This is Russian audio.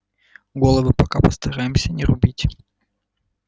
головы пока постараемся не рубить